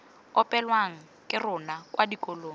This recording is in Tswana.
opelwang ke rona kwa dikolong